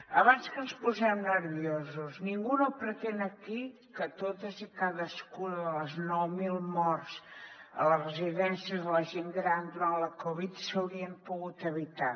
abans que ens posem nerviosos ningú no pretén aquí que totes i cadascuna de les nou mil morts a les residències de la gent gran durant la covid s’haurien pogut evitar